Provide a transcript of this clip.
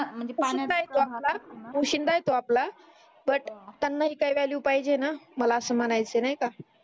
पोशिंदा आहे तो आपला बट त्यांना ही काही वॅल्यू पाहिजे ना मला अस म्हणायच आहे नाही काय